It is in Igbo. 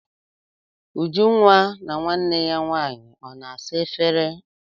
Ujunwa na nwanne ya nwaanyị ọ na-asa efere?